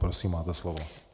Prosím, máte slovo.